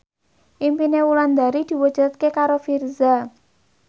impine Wulandari diwujudke karo Virzha